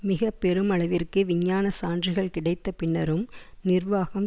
மிக பெருமளவிற்கு விஞ்ஞான சான்றுகள் கிடைத்த பின்னரும் நிர்வாகம்